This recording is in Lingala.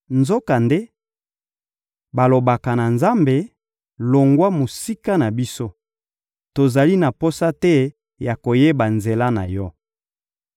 Nzokande, balobaka na Nzambe: ‹Longwa mosika na biso! Tozali na posa te ya koyeba nzela na yo.